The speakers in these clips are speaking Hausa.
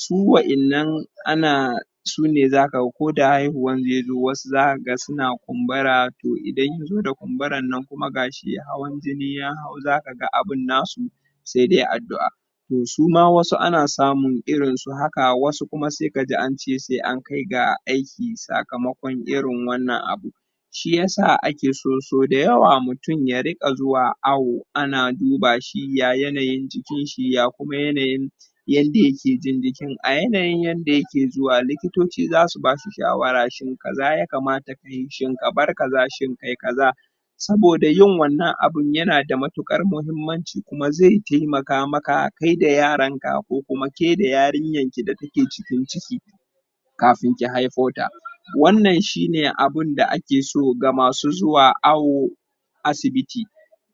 su wayan nan ana su ne za ka ga ko da haihuwan zai zo wasu za ka ga su na kumbura toh idan ya zo da kumburan nan kuma ga shi hawan jini ya hau za ka ga abin na su sai dai addu'a toh suma wasu ana samun irin su haka wasu kuma sai ka ji an cesai an kai ga aiki sakamakon irinwannan abu shi ya saake so so dayawa mutum ya riga zuwa awo ana duba shi ya yanayin jikin shi ya kuma yanayin yande ya ke jin jikin a yanayin yandeyake zuwa likitoci za su ba su shawara shin kaza ya kamata ka yi shin ka bar kaza ka yi kaza soboda yin kaza yana da matukar muhimmanci kuma zai taimaka maka kai da yaran ka ko kuma ke da yarinyanki da ta ke cikinciki kafin ki haifo ta wannan shi ne ake so ga masu awo asibiti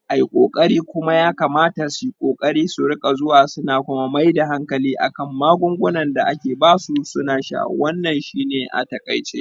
ayi kokari kuma ya kamata su yi kokari surika zuwa su na kuma mai da hankali akan magunguna da ake basu suna sha wannan shi ne a takaice